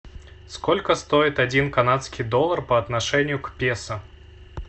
сколько стоит один канадский доллар по отношению к песо